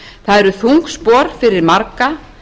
það eru þung spor fyrir marga